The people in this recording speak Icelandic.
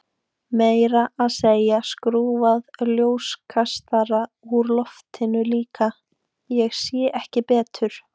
Meira að segja skrúfað ljóskastara úr loftinu líka, ég sé ekki betur.